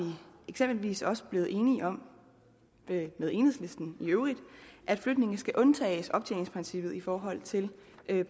eksempelvis også blevet enige om med enhedslisten i øvrigt at flygtninge skal undtages fra optjeningsprincippet i forhold til